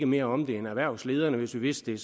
mere om det end erhvervslederne hvis vi vidste